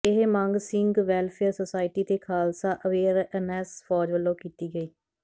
ਇਹ ਮੰਗ Singh welfare society ਤੇ ਖਾਲਸਾ ਅਵੇਅਰਨੈਸ ਫੌਜ ਵੱਲੋਂ ਕੀਤੀ ਗਈ